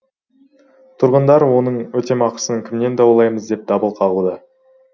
тұрғындар оның өтемақысын кімнен даулаймыз деп дабыл қағуда